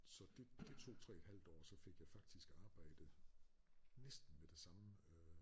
Så det det tog 3 et halvt år og så fik jeg faktisk arbejde næsten med det samme